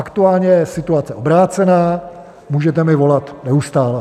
Aktuálně je situace obrácená, můžete mi volat neustále.